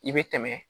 I bɛ tɛmɛ